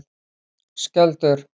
Skjöldur